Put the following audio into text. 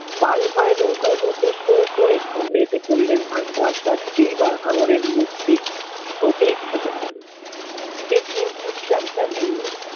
পাল ভরে নৌকার মধ্যে সো করে সামনে এসে পড়লেন এইবার হাঙ্গরের মুখটি টোপে ঠেকছে সেই